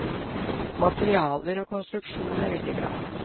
Materialer og konstruksjon er veldig bra.